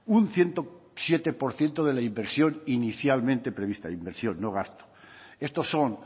un ciento siete por ciento de la inversión inicialmente prevista inversión no gasto estos son